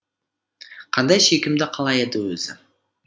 қандай сүйкімді қала еді өзі